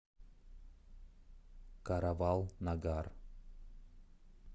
каравал нагар